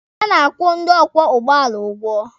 A na-akwụ ndị ọkwọ ụgbọala ụgwọ